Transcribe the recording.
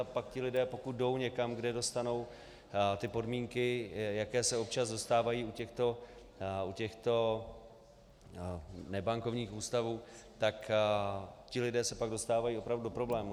A pak ti lidé, pokud jdou někam, kde dostanou ty podmínky, jaké se občas dostávají u těchto nebankovních ústavů, tak ti lidé se pak dostávají opravdu do problémů.